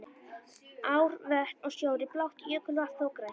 Ár, vötn og sjór er blátt, jökulvatn þó grænt.